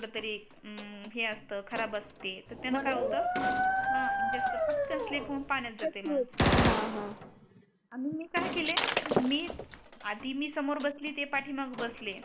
हम्म हे असत खराब असते तर त्याने काय होत खरब असत हा म्हणजे अस पटकन स्लीप हून पाण्यात जाते मग हा आणि मी काय केले मी आधी मी सोमर बसली ते पाटी मागे बसले